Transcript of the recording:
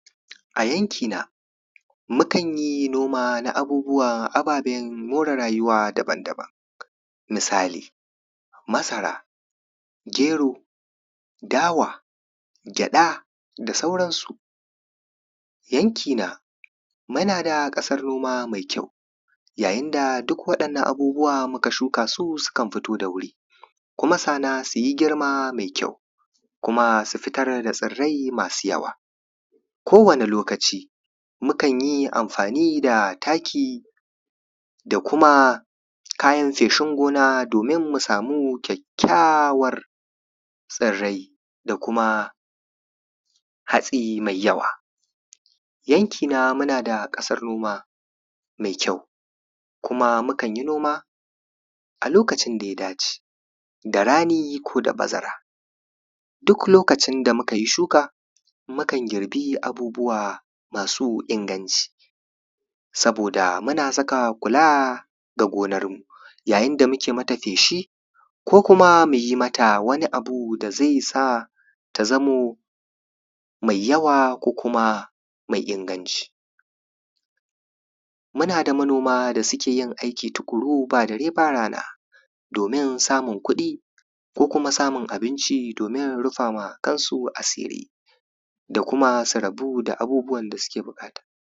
a yanki na mukan yi noma na abubuwan ababen more rayuwa daban daban misali masara gero dawa gyaɗa da sauran su yanki na muna da ƙasar noma mai kyau yayin da duk waɗannan abubuwan muka shuka su sukan fito da wuri kuma sannan su yi girma mai kyau kuma su fitar da tsirrai masu yawa ko wane lokaci mukan yi amfani da taki da kuma kayan feshin gona domin mu samu kyakkyawar tsirrai da kuma hatsi mai yawa yanki na muna da ƙasar noma mai kyau kuma mukan yi noma a lokacin da ya dace da rani ko da bazara duk lokacin da muka yi shuka mukan girbi abubuwa masu inganci saboda muna saka kula da gonar mu yayin da muke mata feshi ko kuma mu yi mata wani abu da zai sa ta zamo mai yawa ko kuma mai inganci muna da manoma da suke yin aiki tuƙuru ba dare ba rana domin samun kuɗi ko kuma samun abinci domin rufa ma kansu asiri da kuma sa rabu da abubuwan da suke buƙata